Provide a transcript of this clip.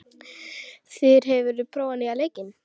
Þyri, hefur þú prófað nýja leikinn?